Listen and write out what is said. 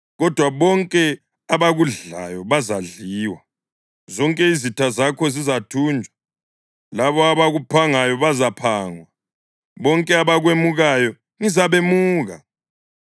Kodwa bonke abakudlayo bazadliwa; zonke izitha zakho zizathunjwa. Labo abakuphangayo bazaphangwa; bonke abakwemukayo ngizabemuka.